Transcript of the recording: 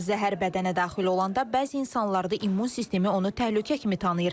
Zəhər bədənə daxil olanda bəzi insanlarda immun sistemi onu təhlükə kimi tanıyır.